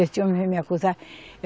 Esse homem veio me acusar.